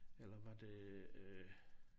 Eller var det øh